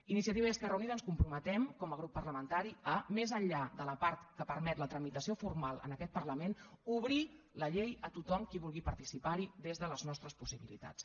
iniciativa i esquerra unida ens comprometem com a grup parlamentari a més enllà de la part que permet la tramitació formal en aquest parlament obrir la llei a tothom qui vulgui participar hi des de les nostres possibilitats